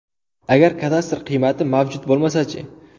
Agar kadastr qiymati mavjud bo‘lmasa-chi?